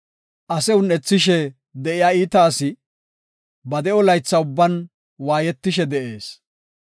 Ase un7ethishe de7iya iita asi, ba de7o laytha ubban waayetishe de7ees.